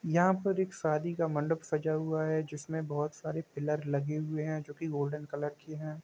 यहाँ पर एक शादी का मंडप सजा हुआ है जिसमे बहुत सारे पिलर लगे हुए है जो की गोल्डन कलर के है।